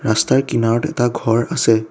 ৰাস্তাৰ কিনাৰত এটা ঘৰ আছে।